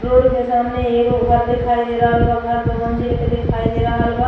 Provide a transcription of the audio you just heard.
Road के सामने एगो घर दिखाई दे रहल बा। घर दो मंजिल के दिखाई दे रहल बा।